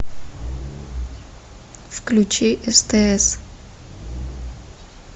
включи стс